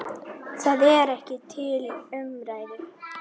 Það er ekki til umræðu.